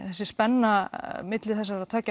þessi spenna milli þessara